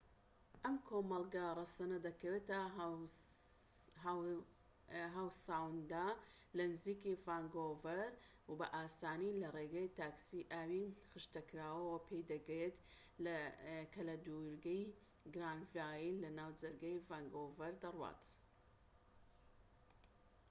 ئەم کۆمەڵگە ڕەسەنە دەکەوێتە هاو ساوند لە نزیکی ڤانکوڤەر و بە ئاسانی لە ڕێگەی تاکسی ئاوی خشتەکراوەوە پێی دەگەیت کە لە دوورگەی گرانڤایل لە ناوجەرگەی ڤانکوڤەر دەڕوات